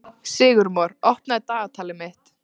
Sigurmon, opnaðu dagatalið mitt.